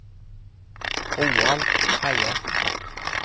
Roald Reiersen